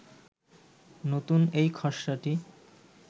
নতুন এই খসড়াটি